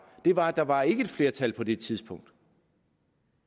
det var at der ikke var et flertal på det tidspunkt